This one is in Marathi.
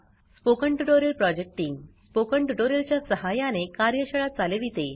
spoken tutorial project team spoken tutorial च्या सहाय्याने कार्यशाळा चालविते